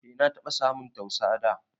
E na taba samun tausa dà